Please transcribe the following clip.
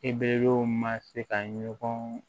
I bɛw ma se ka ɲɔgɔn